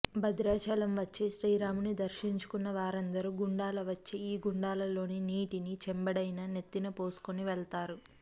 భద్రాచలం వచ్చి శ్రీరాముని దర్శించుకున్న వారందరూ గుండాల వచ్చి ఈ గుండాలలోని నీటిని చెంబెడైనా నెత్తిన పోసుకుని వెళ్తారు